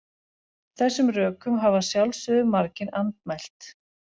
Þessum rökum hafa að sjálfsögðu margir andmælt.